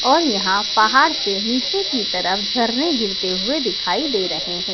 और यहां पहाड़ से नीचे की तरफ झरने गिरते हुए दिखाई दे रहे है।